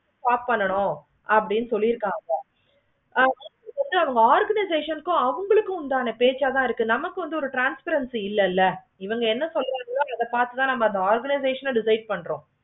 பார்க்கணும் அப்படின்னு சொல்லிருக்காங்க அவுங்களுக்கு உண்டான பேச்சு தான் இருக்கு. நமக்கு வந்து ஒரு transparrency இல்லைல. இவுங்க சொல்றாங்க அது பார்த்து தான் அந்த organization தான் ready பண்ணுவாங்க.